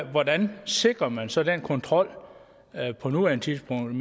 er hvordan sikrer man så den kontrol på nuværende tidspunkt